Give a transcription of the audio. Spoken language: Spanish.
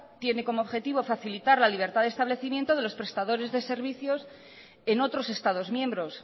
tiene como objetivo facilitar la libertad de establecimiento de los prestadores de servicios en otros estados miembros